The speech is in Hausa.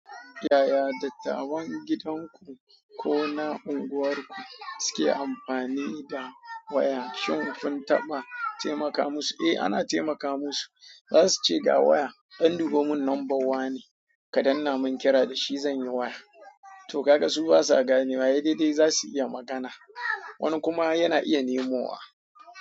Yaya dattawan gidanku ko na unguwarku suke amfani da waya? Shin kun taɓa taimaka musu? Eh, ana taimaka musu. Za su ce ga waya an duba mun number wane, ka danna mun kira da shi zan yi waya. To kaga su basa gane wa sai daidai za su iya magana. Wani kuma yana iya nemowa.